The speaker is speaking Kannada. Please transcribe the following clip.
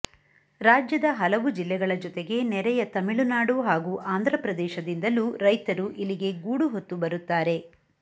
ರಾಜ್ಯದ ಹಲವು ಜಿಲ್ಲೆಗಳ ಜೊತೆಗೆ ನೆರೆಯ ತಮಿಳುನಾಡು ಹಾಗೂ ಆಂಧ್ರ ಪ್ರದೇಶದಿಂದಲೂ ರೈತರು ಇಲ್ಲಿಗೆ ಗೂಡು ಹೊತ್ತು ಬರುತ್ತಾರೆ